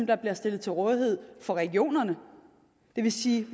der bliver stillet til rådighed for regionerne det vil sige